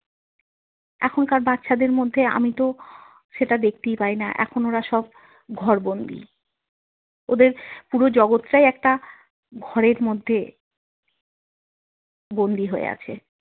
এখনকার বাচ্ছাদের মধ্যে আমি তো সেটা দেখতেই পাই না। এখন ওরা সব ঘরবন্দী। ওদের পুরো জগৎটাই একটা ঘরের মধ্যে বন্দী হয়ে আছে।